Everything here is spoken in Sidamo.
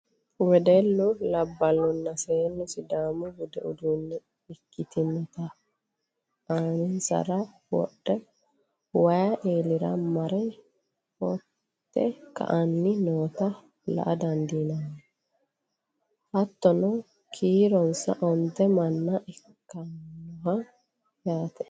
wedellu labballunna seennu sidaamu budu uddano ikkitinota aaninsara wodhe wayi eelira mare foote ka''anni noota la''a dandiinanni. hattono kiironsa onte manna ikkannoho yaate.